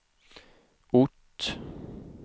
ort